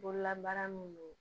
Bololabaara min don